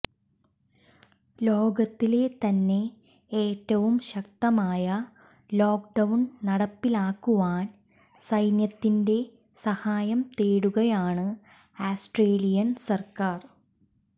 ലോകത്തിലെ തന്നെ ഏറ്റവും ശക്തമായ ലോക്ക്ഡൌൺ നടപ്പിലാക്കുവാൻ സൈന്യത്തിന്റെ സഹായം തേടുകയാണ് ആസ്ട്രേലിയൻ സർക്കാർ